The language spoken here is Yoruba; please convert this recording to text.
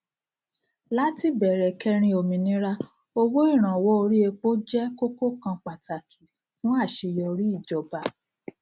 láti bẹrẹ kẹrin ominira owó ìrànwọ orí epo jẹ kókó kan pàtàkì fún àṣeyọrí ìjọba